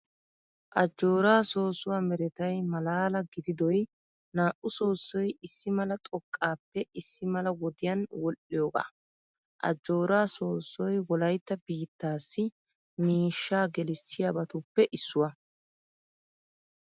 Ajjooraa soossuwaa meretay malaala gididoy naa"u soossoy issi mala xoqqaappe issi mala wodiyan wodhdhiyoogaa. Ajjooraa soossoy wolaytta biittaassi miishshaa gelisaiyaabatuppe issuwaa.